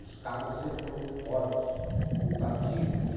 Os Caval sempre foram muito fortes, muito ativos.